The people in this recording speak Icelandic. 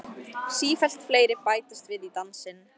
Sífellt fleiri bætast við í dansinn.